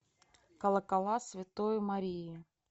колокола святой марии